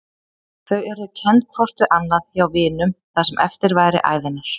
Þau yrðu kennd hvort við annað hjá vinunum það sem eftir væri ævinnar.